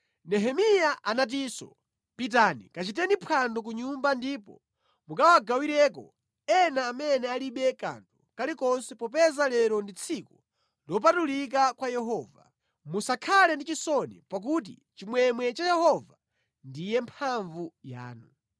Nehemiya anatinso, “Pitani, kachiteni phwando ku nyumba ndipo mukawagawireko ena amene alibe kanthu kalikonse popeza lero ndi tsiku lopatulika kwa Yehova. Musakhale ndi chisoni, pakuti chimwemwe cha Yehova ndiye mphamvu yanu.”